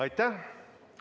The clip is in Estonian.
Aitäh!